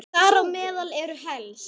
Þar á meðal eru helst